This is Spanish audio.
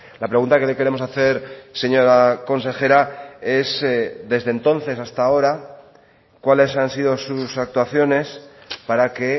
la pregunta que le queremos hacer señora consejera es desde entonces hasta ahora cuáles han sido sus actuaciones para que